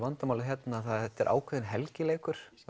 vandamálið hérna það er þetta er ákveðinn helgileikur